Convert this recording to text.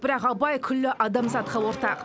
бірақ абай күллі адамзатқа ортақ